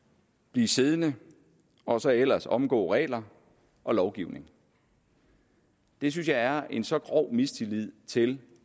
blive siddende og så ellers omgå regler og lovgivning det synes jeg er en så grov mistillid til